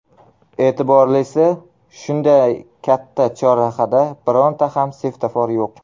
E’tiborlisi, shunday katta chorrahada bironta ham svetofor yo‘q.